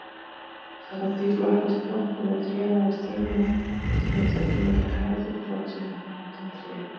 Samkvæmt því flokkast planta með trénaða stöngla sem nær tveggja metra hæð fullvaxin sem tré.